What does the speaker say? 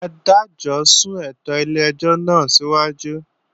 Adájọ́ sún ètò ilé-ẹjọ́ náà síwájú